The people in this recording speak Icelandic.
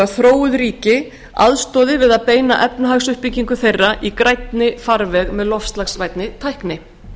ríki aðstoði við að beina efnahagsuppbyggingu þeirra í grænni farveg með loftslagsvænni tækni